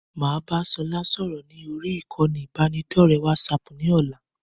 Máa bá sọlá sọ̀rọ̀ ni orí ìkànnì ibanidọ̀rẹ́ WhatsApp ni ọ̀la.